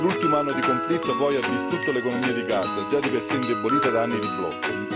L'ultimo anno di conflitto, poi, ha distrutto l'economia di Gaza, già di per sé indebolita da anni di blocco.